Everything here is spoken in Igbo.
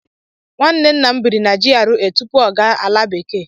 Nwanne nna m bịrị na GRA tupu ọ gaa ala bekee.